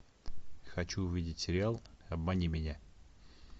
хочу увидеть сериал обмани меня